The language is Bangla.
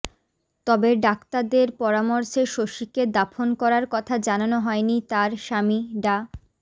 তবে ডাক্তাদের পরামর্শে শশীকে দাফন করার কথা জানানো হয়নি তার স্বামী ডা